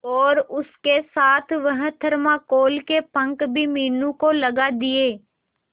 और उसके साथ वह थर्माकोल के पंख भी मीनू को लगा दिए